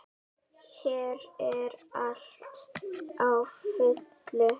Hér er allt á fullu.